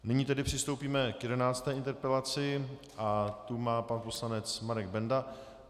Nyní tedy přistoupíme k 11. interpelaci a tu má pan poslanec Marek Benda.